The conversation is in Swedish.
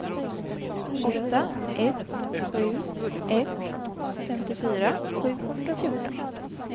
åtta ett sju ett femtiofyra sjuhundrafjorton